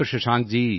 ਸ਼ਸ਼ਾਂਕ ਜੀ